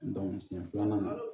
siɲɛ filanan